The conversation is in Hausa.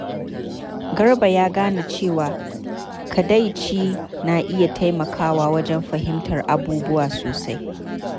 Garba ya gane cewa kadaici na iya taimakawa wajen fahimtar abubuwa sosai.